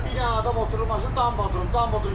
Bir dənə adam oturub maşının dam bağdırıb, dam bağdırıb.